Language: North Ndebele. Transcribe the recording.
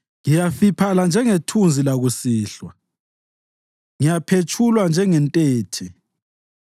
Ngiyafiphala njengethunzi lakusihlwa; ngiyaphetshulwa njengentethe.